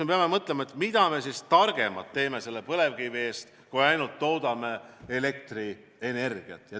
Me peame mõtlema, mida me saame põlevkiviga targemat teha kui ainult toota elektrienergiat.